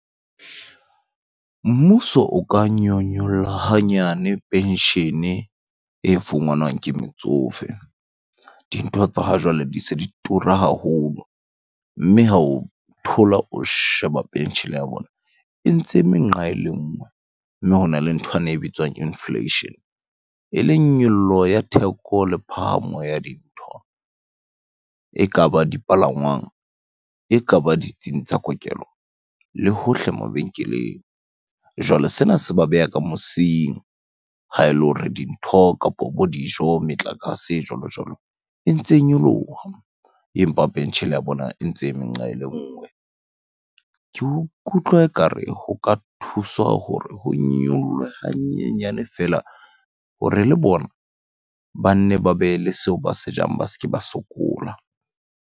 Mmuso o ka nyolla hanyane penshene e fumanwang ke metsofe. Dintho tsa ha jwale di se di tura haholo. Mme ha o thola o sheba penshene ya bona, e ntse eme nqa ele nngwe. Le nthwane e bitswang inflation, eleng nyollo ya theko le phahama ya dintho. Ekaba dipalangwang, ekaba ditsing tsa kokelo le hohle mabenkeleng. Jwale sena se ba beha ka mosing ha ele hore dintho, kapo bo dijo, metlakase jwalo jwalo, e ntse nyoloha empa penshene ya bona e ntse eme nqa ele nngwe. Ke ikutlwa ekare ho ka thuswa hore ho nyolohe hanyenyane feela hore le bona ba nne ba be le seo ba se jang, ba se ke ba sokola.